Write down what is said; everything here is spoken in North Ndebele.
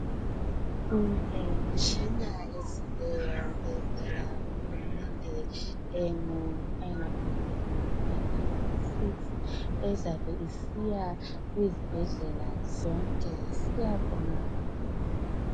kulemitshina ezileyo evela kuhulumende engamakhulungwane angu 6 ezabe isiya ezibhedlela zonke siyabonga kakhulu